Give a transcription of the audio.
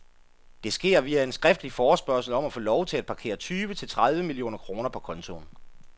Det sker via en skriftlig forespørgsel om at få lov til at parkere tyve til tredive millioner kroner på kontoen.